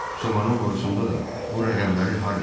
"Sobanın borusunda da bu rəqəmləri Harvi yazıb."